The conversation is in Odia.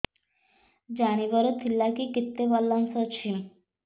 ଜାଣିବାର ଥିଲା କି କେତେ ବାଲାନ୍ସ ଅଛି